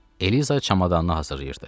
Eliza çamadanını hazırlayırdı.